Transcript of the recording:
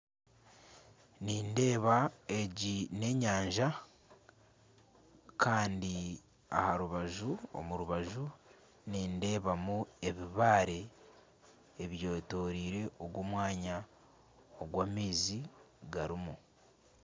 Nindeeba egi n'enyanja Kandi aha rubaju omu rubaju nindebamu ebibaare ebyetoreire ogu omwanya ogu amaizi garimu.